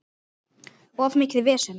Of mikið vesen.